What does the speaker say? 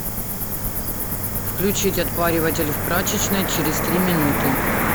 включить отпариватель в прачечной через три минуты